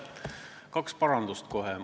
Kaks parandust kohe.